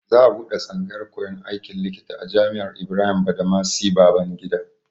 Za a buɗe tsangayar koyan aikin likita a Jami'ar Ibrahim Badamasi Babangida.